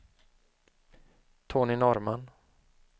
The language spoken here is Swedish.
Tony Norrman